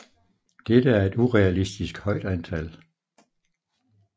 Dette er et urealistisk højt antal